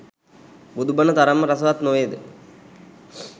බුදු බණ තරම්ම රසවත් නොවේද?